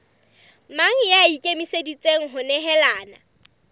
mang ya ikemiseditseng ho nehelana